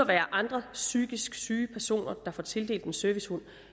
være andre psykisk syge personer der får tildelt en servicehund